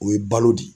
O ye balo de ye